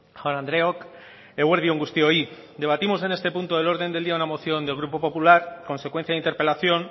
jaun andreok eguerdi on guztioi debatimos en este punto del orden del día una moción del grupo popular consecuencia de interpelación